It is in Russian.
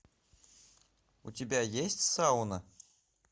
у тебя есть сауна